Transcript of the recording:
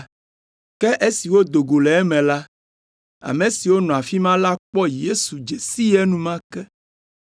Ke esi wodo go le eme la, ame siwo nɔ afi ma la kpɔ Yesu dze sii enumake,